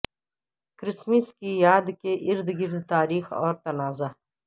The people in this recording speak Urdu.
کرسمس کی یاد کے ارد گرد تاریخ اور تنازع